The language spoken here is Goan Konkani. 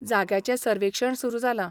जाग्याचें सर्वेक्षण सुरू जालां.